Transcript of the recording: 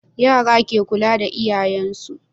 Yara ke kula da yayyin su